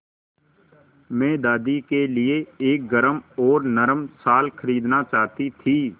मैं दादी के लिए एक गरम और नरम शाल खरीदना चाहती थी